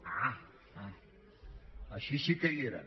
ah així sí que hi eren